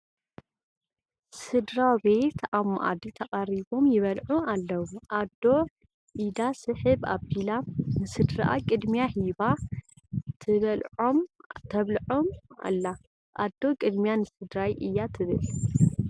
ስድራ ቤት ኣብ መኣዲ ተቐሪቦም ይበልዑ ኣለዉ፡፡ ኣዶ ኢዳ ስሕብ ኣቢላ ንስድርአ ቅድሚያ ሂባ ተብልዖም ኣላ፡፡ ኣዶ ቅድሚያ ንስድራይ እያ ትብል፡፡